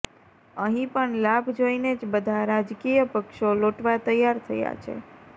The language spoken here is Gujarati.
અહીં પણ લાભ જોઈને જ બધા રાજકીય પક્ષો લોટવા તૈયાર થયા છે